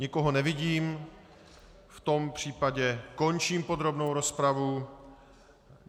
Nikoho nevidím, v tom případě končím podrobnou rozpravu.